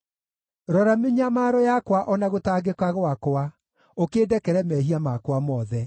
Rora mĩnyamaro yakwa o na gũtangĩka gwakwa, ũkĩndekere mehia makwa mothe.